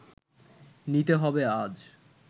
নিতে হবে আজ